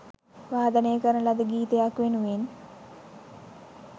වාදනය කරන ලද ගීතයක් වෙනුවෙන්